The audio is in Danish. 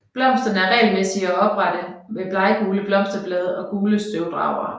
Blomsterne er regelmæssige og oprette med bleggule blosterblade og gule støvdragere